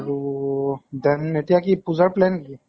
আৰু । জান এতিয়া কি পুজা plan কি ?